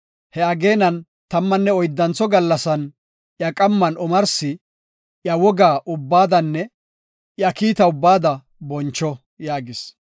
Ha ageenan tammanne oyddantho gallasan iya qamman omarsi iya woga ubbaadanne iya kiita ubbaada boncho” yaagis.